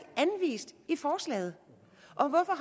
anvist i forslaget